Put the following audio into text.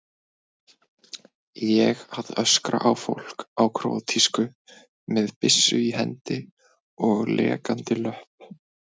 Ég að öskra á fólk á króatísku, með byssu í hendi og lekandi löpp.